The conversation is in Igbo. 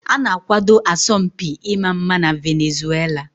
A na-akwado asọmpi ịma mma na Venezuela.